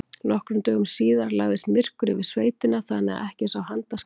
Nokkrum dögum síðar lagðist myrkur yfir sveitina þannig að ekki sá handa skil.